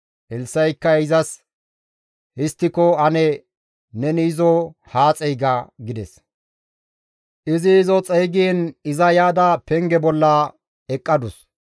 Elssa7ikka izas, «Histtiko ane neni izo haa xeyga» gides; izi izo xeygiin iza yaada penge bolla eqqadus.